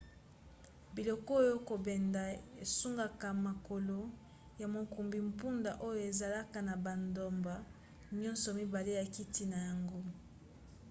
biloko ya kobenda esungaka makolo ya mokumbi mpunda oyo ezalaka na bandambo nyonso mibale ya kiti na yango